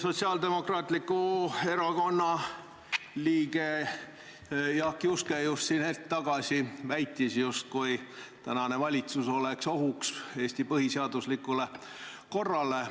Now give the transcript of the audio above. Sotsiaaldemokraatliku Erakonna liige Jaak Juske hetk tagasi väitis, et praegune valitsus on nagu ohuks Eesti põhiseaduslikule korrale.